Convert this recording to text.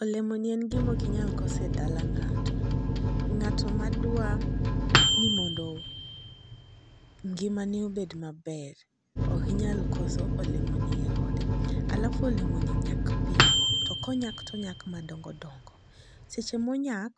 Olemo ni en gimoki nyal kose dala ng'ato. Ng'ato madwa ni mondo ngimane obed maber okinyal olemo ni e ode. Alafu olemo ni nyak piyo to konyak tonyak madongo dongo. Seche monyak